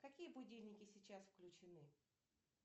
какие будильники сейчас включены